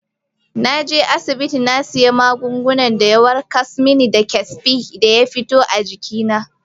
Na je asibiti na sayi magungunan da ya warkas mani da kesbin da ya fito a jikina.